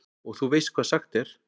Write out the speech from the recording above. Og þú veist hvað sagt er?